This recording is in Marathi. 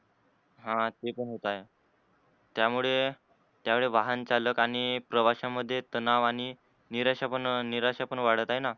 ह ते पण होत आहे त्यामुळे त्यावेळी वाहन चालक आणि प्रवाशांमध्ये तणाव आणि निराशा पण निराशा पण वाढत आहेन?